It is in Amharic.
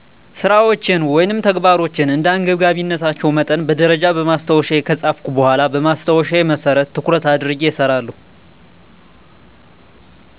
ስራወቸን ወይም ተግባሮቸን እንደ አንገብጋቢነታቸው መጠን በደረጃ በማስታወሻየ ከጻፍኩ በኋላ በማስታወሻየ መሰረት ትኩረት አድርጌ እሰራለሁ።